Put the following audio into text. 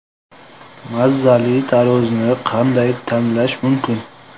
Mazali tarvuzni qanday tanlash mumkin?